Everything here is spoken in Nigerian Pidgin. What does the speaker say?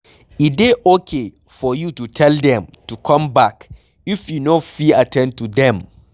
E dey okay for you to tell them to come back if you no fit at ten d to them